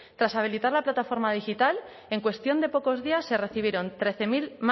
tras habilitar la plataforma digital en cuestión de pocos días se recibieron